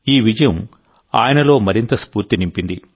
ఈ విజయం ఆయనలో మరింత స్ఫూర్తి నింపింది